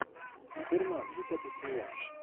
дурман десятый сезон